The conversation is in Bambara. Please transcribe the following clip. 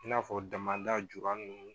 I n'a fɔ damada julu